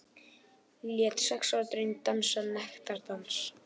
Lét sex ára dreng dansa nektardans